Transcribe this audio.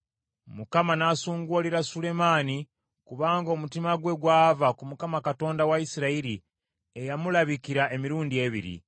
Mukama n’asunguwalira Sulemaani kubanga omutima gwe gwava ku Mukama Katonda wa Isirayiri, eyamulabikira emirundi ebiri.